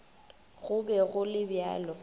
go be go le bjalo